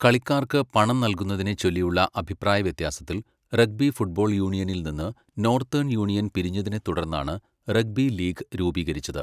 കളിക്കാർക്ക് പണം നൽകുന്നതിനെച്ചൊല്ലിയുള്ള അഭിപ്രായവ്യത്യാസത്തിൽ, റഗ്ബി ഫുട്ബോൾ യൂണിയനിൽ നിന്ന് നോർത്തേൺ യൂണിയൻ പിരിഞ്ഞതിനെ തുടർന്നാണ്, റഗ്ബി ലീഗ് രൂപീകരിച്ചത്.